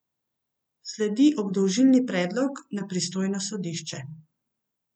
Sledi obdolžilni predlog na pristojno sodišče.